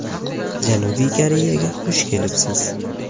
Janubiy Koreyaga xush kelibsiz!